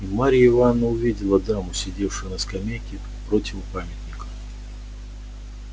и марья ивановна увидела даму сидевшую на скамейке противу памятника